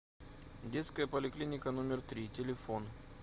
детская поликлиника номер три телефон